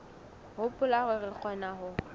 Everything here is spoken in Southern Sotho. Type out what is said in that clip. hopola hore re kgona ho